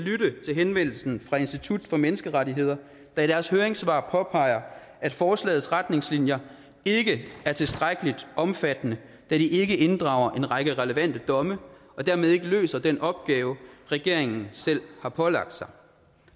henvendelsen fra institut for menneskerettigheder der i deres høringssvar påpeger at forslagets retningslinjer ikke er tilstrækkelig omfattende da de ikke inddrager en række relevante domme og dermed ikke løser den opgave regeringen selv har pålagt sig